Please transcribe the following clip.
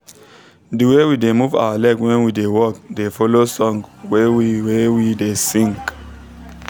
the way we da move our leg when we da work da follow song wey we wey we da sing